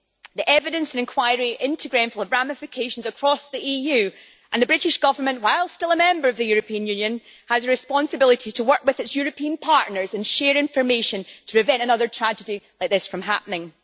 The evidence and enquiry into Grenfell had ramifications across the EU and the British Government, while still a Member of the European Union, has a responsibility to work with its European partners and share information to prevent another tragedy like this from happening.